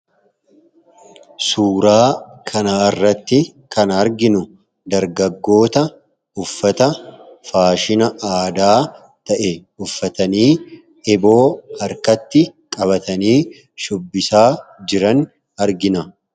Suuraa kana irratti kan arginu dargaggoota uffata faashina aadaa ta'e uffatanii eeboo harkatti qabatanii shubbisaa jiran argina.